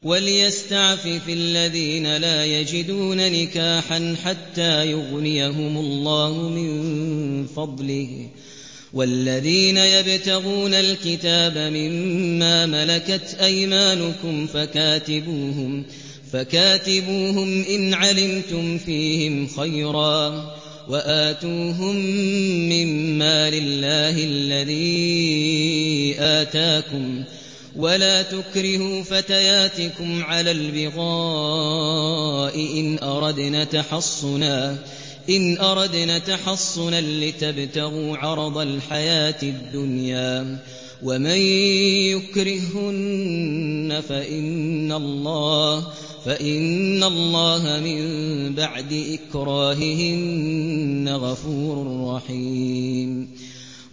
وَلْيَسْتَعْفِفِ الَّذِينَ لَا يَجِدُونَ نِكَاحًا حَتَّىٰ يُغْنِيَهُمُ اللَّهُ مِن فَضْلِهِ ۗ وَالَّذِينَ يَبْتَغُونَ الْكِتَابَ مِمَّا مَلَكَتْ أَيْمَانُكُمْ فَكَاتِبُوهُمْ إِنْ عَلِمْتُمْ فِيهِمْ خَيْرًا ۖ وَآتُوهُم مِّن مَّالِ اللَّهِ الَّذِي آتَاكُمْ ۚ وَلَا تُكْرِهُوا فَتَيَاتِكُمْ عَلَى الْبِغَاءِ إِنْ أَرَدْنَ تَحَصُّنًا لِّتَبْتَغُوا عَرَضَ الْحَيَاةِ الدُّنْيَا ۚ وَمَن يُكْرِههُّنَّ فَإِنَّ اللَّهَ مِن بَعْدِ إِكْرَاهِهِنَّ غَفُورٌ رَّحِيمٌ